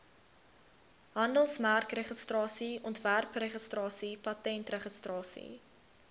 handelsmerkregistrasie ontwerpregistrasie patentregistrasie